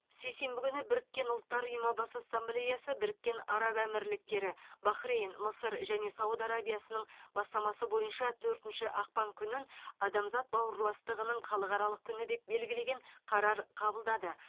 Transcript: сейсенбі күні біріккен ұлттар ұйымы бас ассамблеясы біріккен араб әмірліктері бахрейн мысыр және сауд арабиясының бастамасы бойынша төртінші ақпан күнін адамзат бауырластығының халықаралық күні деп белгілеген қарар қабылдады